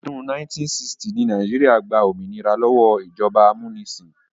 Ọdún 1960 ni Nàìjíríà gba òmìnira lọ́wọ́ ìjọba amúnisìn